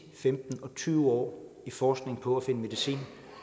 femten og tyve år i forskning på at finde medicin